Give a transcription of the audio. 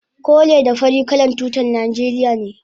kore da fari kalan tutar najeriya ne